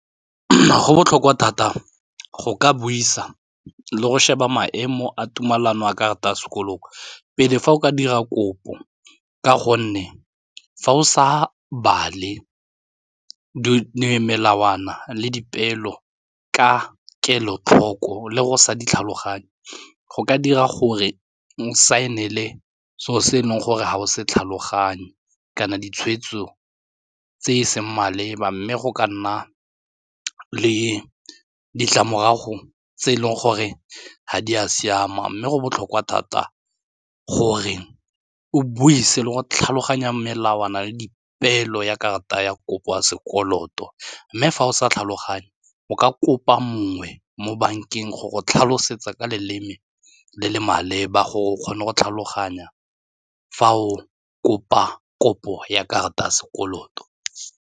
Go botlhokwa thata go ka buisa le go sheba maemo a tumelano a karata a sekolong pele fa o ka dira kopo ka gonne fa o sa bale melawana le dipeelo ka kelotlhoko le go sa di tlhaloganye go ka dira gore o saenele seo se e leng gore ga o se tlhaloganye kana ditshweetso tse e seng maleba mme go ka nna le ditlamorago tse e leng gore ga di a siama mme go botlhokwa thata gore o buise le go tlhaloganya melawana le dipeelo ya karata ya kopo ya sekoloto mme fa o sa tlhaloganye o ka kopa mongwe mo bankeng go go tlhalosetsa ka leleme le le maleba gore o kgone go tlhaloganya fa o kopa kopo ya karata ya sekoloto.